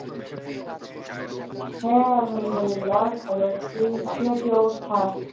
হ্যাঁ, আলহাম দুল্লিলা ভালো আছি । আপনার কি অবস্থা?